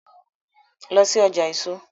Lọ sí ọjà èso!